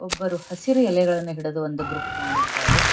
ಒಬ್ಬರು ಹಸಿರು ಎಲೆಗಳನ್ನ ಹಿಡಿದು ಒಂದು ಗ್ರೂಪ್ ಮಾಡಿದ್ದಾರೆ.